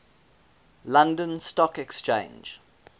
london stock exchange